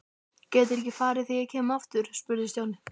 Geturðu ekki farið þegar ég kem aftur? spurði Stjáni.